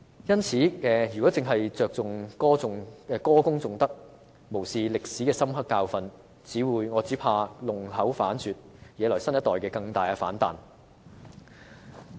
因此，若只着重歌功頌德，無視歷史的深刻教訓，只怕會弄巧反拙，惹來新一代更大的反彈。